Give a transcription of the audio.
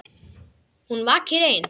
Hún vakir ein.